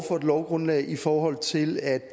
for et lovgrundlag i forhold til at